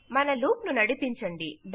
మన లూప్ ను నడిపించండి